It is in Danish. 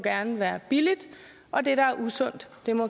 være billigt og at det der er usundt